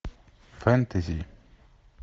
фэнтези